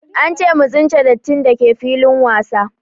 Ance mu tsince dattin dake filin wasa